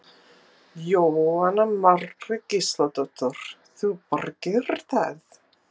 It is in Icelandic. Jóhanna Margrét Gísladóttir: Þú bara gerir það?